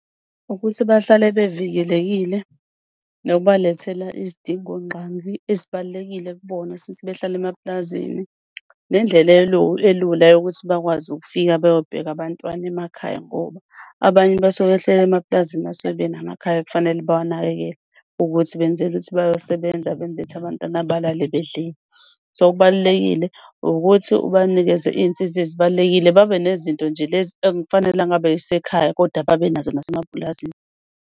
Ukuthi bahlale bevikelekile nokubalethela izidingongqangi ezibalulekile kubona, since behlala emapulazini, nendlela elula yokuthi bakwazi ukufika beyobheka abantwana emakhaya. Ngoba abanye basuke behleli emapulazini basuke benawo amakhaya okufanele bawanakekele, ukuthi benzele ukuthi bayosebenza benza ukuthi abantwana balale bedlile. So kubalulekile ukuthi ubanikeze iy'nsiza ezibalulekile. Babe nezinto nje lezi ekufanele angaba isekhaya kodwa babenazo nasemapulazini.